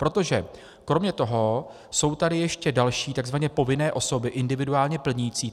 Protože kromě toho jsou tady ještě další takzvaně povinné osoby individuálně plnící.